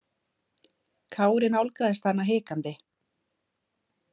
Kári nálgaðist hana hikandi.